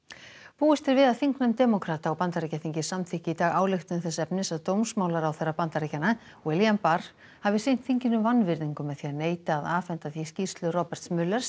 búist er við að þingnefnd demókrata á Bandaríkjaþingi samþykki í dag ályktun þess efnis að dómsmálaráðherra Bandaríkjanna William barr hafi sýnt þinginu vanvirðingu með því að neita að afhenda því skýrslu Roberts